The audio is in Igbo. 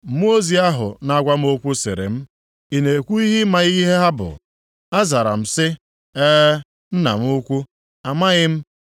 Mmụọ ozi ahụ na-agwa m okwu sịrị m, “Ị na-ekwu na ị maghị ihe ha bụ?” Azara m sị, “Ee, nna m ukwu, amaghị m.”